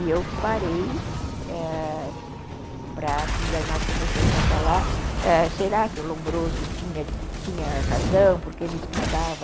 E eu parei, ãh, e nós começamos a falar, será que o Lombroso tinha tinha razão, porque ele explicava...